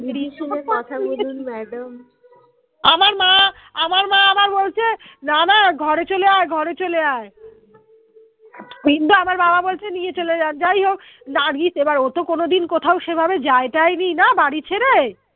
না না ঘরে চলে আয় ঘরে চলে আয় কিন্তু আমার বাবা বলছে নিয়ে চলে যান যাই হোক নার্গিস এবার ও তো কোনদিন কোথাও সেভাবে যায়-টাই নিয়ে না বাড়ি ছেড়ে